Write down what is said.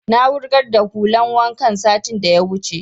Na wurgar da hulan wankan satin da ya wuce